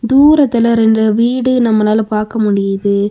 தூரத்துல ரெண்டு வீடு நம்மலால பாக்க முடிது.